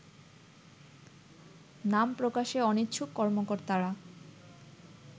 নাম প্রকাশে অনিচ্ছুক কর্মকর্তারা